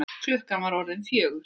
Klukkan var orðin fjögur.